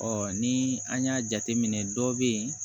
ni an y'a jateminɛ dɔ bɛ ye